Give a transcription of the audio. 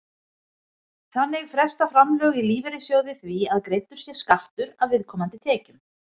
Þannig fresta framlög í lífeyrissjóði því að greiddur sé skattur af viðkomandi tekjum.